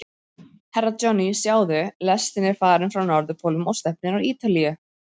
Herra Johnny, sjáðu, lestin er farin frá Norðurpólnum og stefnir á Ítalíu.